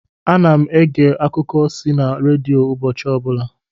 Ana m ege akuko si na redio ụbọchị ọbụla